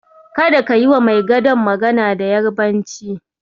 Kada ka yiwa mai gadon magana da Yarabanci.